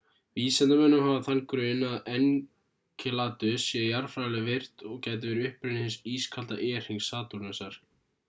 vísindamönnum hafa þann grun að enceladus sé jarðfræðilega virkt og gæti verið upprunni hins ískalda e-hrings satúrnusar